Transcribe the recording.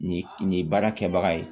Nin nin baara kɛbaga ye